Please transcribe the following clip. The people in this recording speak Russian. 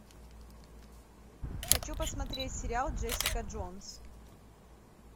хочу посмотреть сериал джессика джонс